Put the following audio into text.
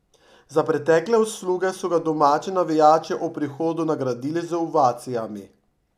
Za pretekle usluge so ga domači navijači ob prihodu nagradili z ovacijami.